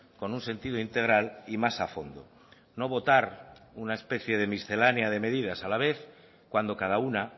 con un sentido integral y más a fondo no votar una especie de miscelánea de medidas a la vez cuando cada una